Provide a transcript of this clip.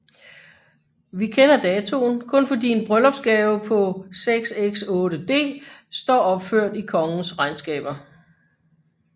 Vi kender datoen kun fordi en bryllupsgave på 6s 8d står opført i kongens regnskaber